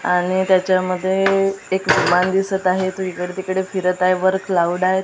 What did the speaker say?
आणि त्याच्यामध्ये एक विमान दिसत आहे तो इकडे तिकडे फिरत आहे वर क्लाऊड आहेत.